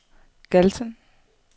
Galten